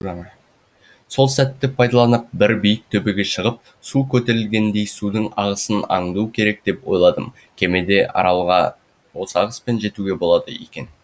сол сәтті пайдаланып бір биік төбеге шығып су көтерілгендей судың ағысын аңду керек деп ойладым кемеден аралға осы ағыспен жетуге болады екен